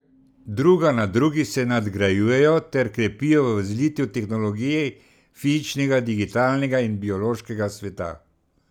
Druga na drugi se nadgrajujejo ter krepijo v zlitju tehnologij fizičnega, digitalnega in biološkega sveta.